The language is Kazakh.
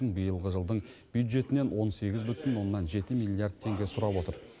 биылғы жылдың бюджетінен он сегіз бүтін оннан жеті миллиард теңге сұрап отыр